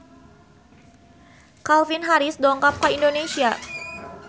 Calvin Harris dongkap ka Indonesia